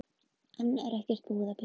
Enn er ekkert búið að byggja